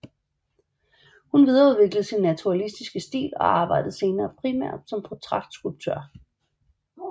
Hun videreudviklede sin naturalistiske stil og arbejdede senere primært som portrætskulptør